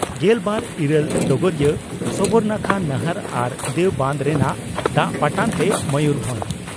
ᱜᱮᱞ ᱵᱟᱨ ᱤᱨᱟᱹᱞ (ᱰᱚᱜᱚᱨᱤᱭᱟᱹ) ᱺ ᱥᱚᱵᱚᱨᱱᱟᱠᱷᱟ ᱱᱟᱦᱟᱨ ᱟᱨ ᱫᱮᱣ ᱵᱟᱱᱫᱽ ᱨᱮᱱᱟᱜ ᱫᱟᱜ ᱯᱟᱴᱟᱱᱛᱮ ᱢᱚᱭᱩᱨᱵᱷᱚᱸᱡᱽ